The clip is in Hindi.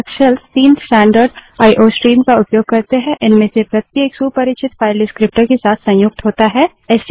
लिनक्स शेल्स तीन स्टैन्डर्ड आईओ iओ स्ट्रीम का उपयोग करते हैं इनमें से प्रत्येक सुपरिचित फाइल डिस्क्रीप्टर विवरणक के साथ संयुक्त होता है